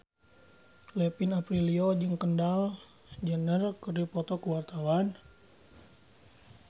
Kevin Aprilio jeung Kendall Jenner keur dipoto ku wartawan